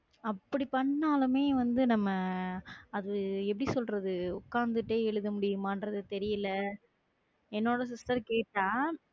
அப்படி பண்ணாலுமே வந்து நம்ம அது எப்படி சொல்றது? உட்கார்ந்துட்டே எழுதும்படியுமானு என்றது தெரியலே என்னோட sister கேட்டா